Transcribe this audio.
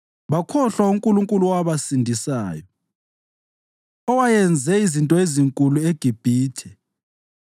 Bakhohlwa uNkulunkulu owabasindisayo, owayenze izinto ezinkulu eGibhithe,